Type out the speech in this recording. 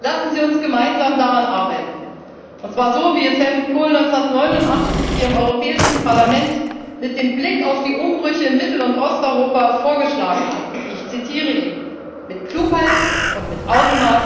Lassen Sie uns gemeinsam daran arbeiten, und zwar so, wie es Helmut Kohl 1989 hier im Europäischen Parlament mit Blick auf die Umbrüche in Mittel und Osteuropa vorgeschlagen hat ich zitiere ihn mit Klugheit und mit Augenmaß,